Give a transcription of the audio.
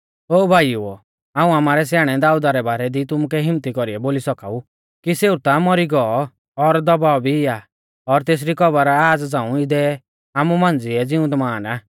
ओ भाईउओ हाऊं आमारै स्याणै दाऊदा रै बारै दी तुमुकै हिम्मत्ती कौरीऐ बोली सौका ऊ कि सेऊ ता मौरी गौ और दबाऔ भी आ और तेसरी कब्र आज़ झ़ांऊ इदै आमु मांझ़िऐ ज़िउंदमान आ